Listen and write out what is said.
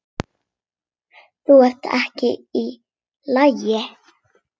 Þú ert ekki í lagi.